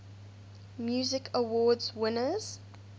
music awards winners